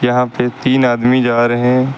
यहां पे तीन आदमी जा रहे हैं।